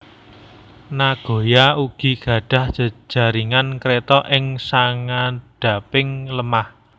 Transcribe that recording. Nagoya ugi gadhah jaringan Kreta ing sangandhaping lemah